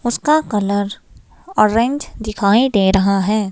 उसका colour orange दिखाई दे रहा है।